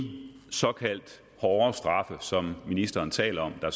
såkaldt hårdere straffe som ministeren taler om der